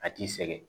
A t'i sɛgɛn